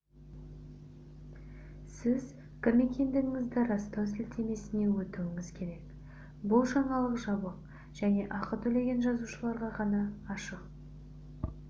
сіз кім екендігіңізді растау сілтемесіне өтуіңіз керек бұл жаңалық жабық және ақы төлеген жазылушыларға ғана ашық